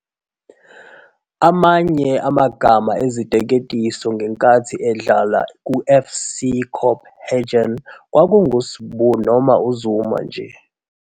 Amanye amagama eziteketiso ngenkathi edlala kuFC Copenhagen kwakunguSibu noma uZuma nje.